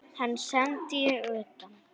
Hann sendi ég utan.